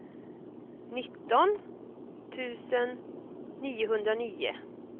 nitton tusen niohundranio